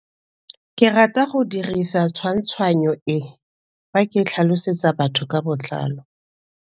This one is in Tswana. Ke rata go dirisa tshwantshanyo e, fa ke tlhalosetsa batho ka botlalo.